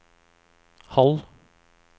halv